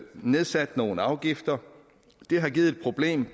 nedsat nogle afgifter det har givet et problem